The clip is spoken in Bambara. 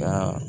Ka